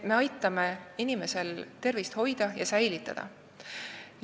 Me aitame inimesel tervist hoida ja säilitada.